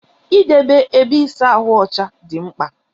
Idebe ébé ịsa ahụ ọcha dị mkpa.